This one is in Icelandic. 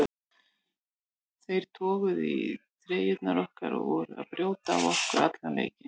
Þeir toguðu í treyjurnar okkar og voru að brjóta á okkur allan leikinn.